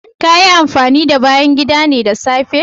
Kayi amfanin da bayan gidane da safe?